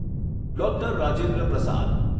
doctor Rajendra Prasad